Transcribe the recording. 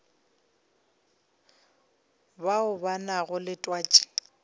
bao ba nago le twatši